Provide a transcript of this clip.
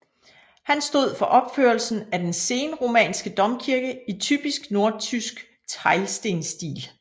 Han stod for opførelsen af den senromanske domkirke i typisk nordtysk teglstensstil